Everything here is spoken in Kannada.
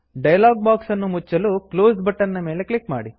ಡಯಲಾಗ್ ಬಾಕ್ಸ್ ಅನ್ನು ಮುಚ್ಚಲು ಕ್ಲೋಸ್ ಕ್ಲೋಸ್ ಬಟನ್ ಮೇಲೆ ಕ್ಲಿಕ್ ಮಾಡಿ